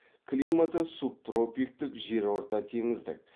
климаты субтропиктік жерортатеңіздік